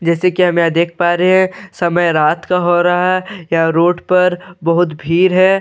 जैसे कि मैं देख पा रहे हैं। समय रात का हो रहा है। या रोड पर बहोत भीड़ है।